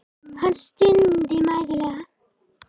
Hann stundi mæðulega.